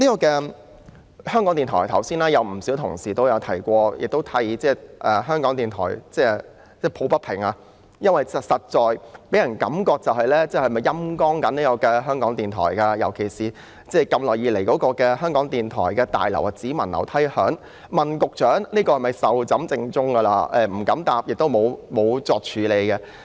剛才有不少同事都提到香港電台，為其抱不平，因為感覺上港台被"陰乾"，尤其是興建港台新大樓只聞樓梯響，雖然我們曾詢問局長這項工程是否已壽終正寢，但局長沒有答覆，亦沒有處理這個問題。